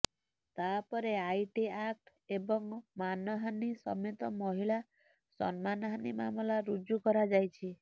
ତା ଉପରେ IT act ଏବଂ ମାନହାନୀ ସମେତ ମହିଳା ସମ୍ମାନହାନୀ ମାମଲା ରୁଜୁ କରାଯାଇଛି